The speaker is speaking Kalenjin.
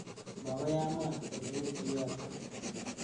Makoi amwa oleu kiyotok.